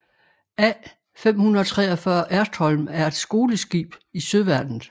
A543 Ertholm er et skoleskib i Søværnet